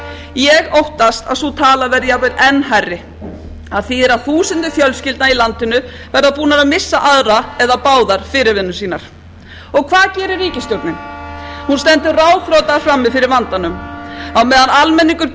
ég óttast að sú tala verði jafnvel enn hærri af því að þúsundir fjölskyldna í landinu verða búnar missa aðra eða báðar fyrirvinnur sínar og hvað gerir ríkisstjórnin hún stendur ráðþrota frammi fyrir vandanum á